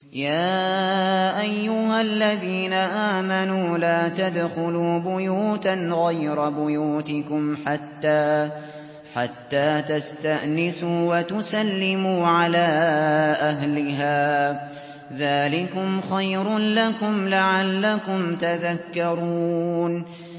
يَا أَيُّهَا الَّذِينَ آمَنُوا لَا تَدْخُلُوا بُيُوتًا غَيْرَ بُيُوتِكُمْ حَتَّىٰ تَسْتَأْنِسُوا وَتُسَلِّمُوا عَلَىٰ أَهْلِهَا ۚ ذَٰلِكُمْ خَيْرٌ لَّكُمْ لَعَلَّكُمْ تَذَكَّرُونَ